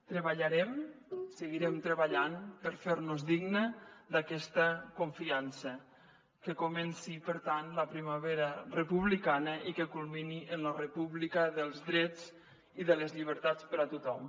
treballarem seguirem treballant per fer nos dignes d’aquesta confiança que comenci per tant la primavera republicana i que culmini en la república dels drets i de les llibertats per a tothom